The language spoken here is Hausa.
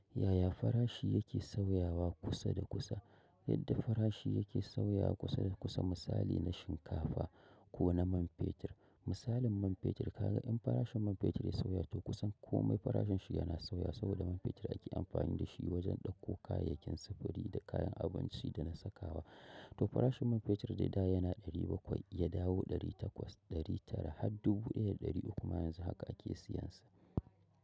Yaya farashi yake sauyawa kusa da kusa? Yadda farashi yake sauyawa kusa da kusa misali na shinkafa kona man fetur. Misalin man fetur kaga in farashin man fetur ya sauya to kusan komai farashinshi yana sauya saboda man fetur ake amfani dashi wajen ɗauko kayayyakin sufuri da kayan abinci dana sakawa. To farashin man fetur dai da yana ɗari bakwai yadawo ɗari takwas, ɗari tara har dubu ɗaya da ɗari uku ma yanzu haka ake siyansa.